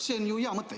See on ju hea mõte.